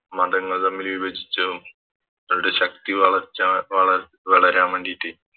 മതങ്ങൾ തമ്മിൽ വിഭജിച്ചതും അവരുടെ ശക്തി വളർച്ച വള വളരാൻ വേണ്ടിറ്റ്